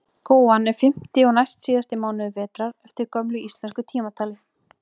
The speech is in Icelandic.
Góan er fimmti og næstsíðasti mánuður vetrar eftir gömlu íslensku tímatali.